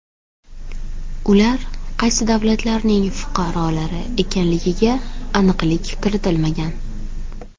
Ular qaysi davlatlarning fuqarolari ekanligiga aniqlik kiritilmagan.